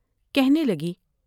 کہنے لگی ۔